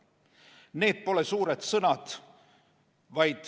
Need pole suured sõnad.